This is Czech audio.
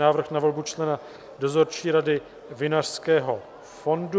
Návrh na volbu člena Dozorčí rady Vinařského fondu